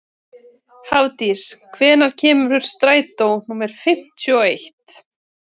Hafdís, hvenær kemur strætó númer fimmtíu og eitt?